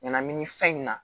Ɲanamini fɛn in na